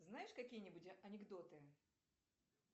знаешь какие нибудь анекдоты